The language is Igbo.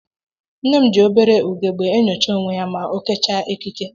Nne m ji obere ugegbe enyocha onwe ya ma o kechaa ekike